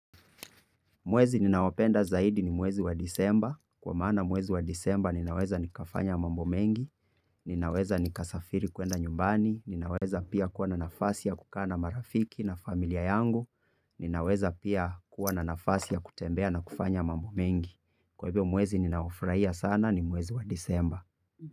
Mwezi ninaopenda zaidi ni mwezi wa disemba. Kwa maana mwezi wa disemba ninaweza nikafanya mambo mengi, ninaweza nikasafiri kuenda nyumbani, ninaweza pia kuwa na nafasi ya kukaa na marafiki na familia yangu, ninaweza pia kuwa na nafasi ya kutembea na kufanya mambo mengi. Kwa hivyo mwezi ninaofurahia sana ni mwezi wa disemba.